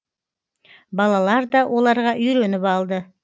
балалар да оларға үйреніп алды